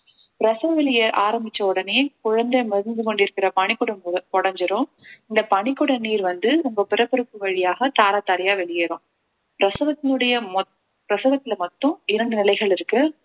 பிரசவ வலிய ஆரம்பிச்ச உடனே குழந்தை மிதந்து கொண்டிருக்கிற பனிக்குடம் உ~ உடைஞ்சிரும் இந்த பனிக்குட நீர் வந்து உங்க பிறப்புறுப்பு வழியாக தாரை தாரையா வெளியேறும் பிரசவத்தினுடைய மொத்~ பிரசவத்துல மட்டும் இரண்டு நிலைகள் இருக்கு